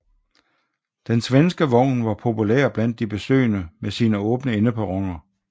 Den svenske vogn var populær blandt de besøgende med sine åbne endeperroner